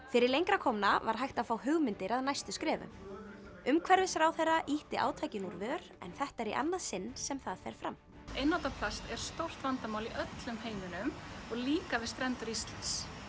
fyrir lengra komna var hægt að fá hugmyndir að næstu skrefum umhverfisráðherra ýtti átakinu úr vör en þetta er í annað sinn sem það fer fram einnota plast er stórt vandamál í öllum heiminum og líka við strendur Íslands